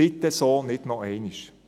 Bitte so nicht noch einmal!